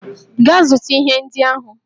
Gaa zụta ihe ndị ahụ!